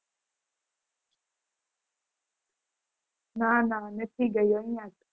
ના ના નથી ગયું અયાજ છે